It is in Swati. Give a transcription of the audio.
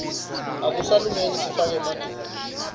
akusasilungeli sifake emaduku